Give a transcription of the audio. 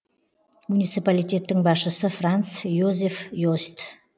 муниципалитеттің басшысы франц йозеф йост